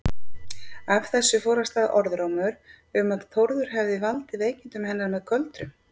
Af þessu fór af stað orðrómur um að Þórður hefði valdið veikindum hennar með göldrum.